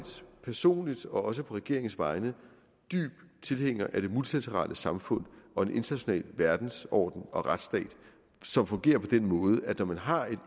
personligt og også på regeringens vegne dyb tilhænger af det multilaterale samfund og en international verdensorden og retsstat som fungerer på den måde at når man har